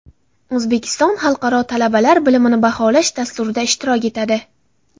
O‘zbekiston Xalqaro talabalar bilimini baholash dasturida ishtirok etadi.